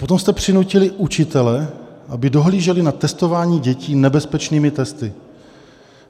Potom jste přinutili učitele, aby dohlíželi na testování dětí nebezpečnými testy.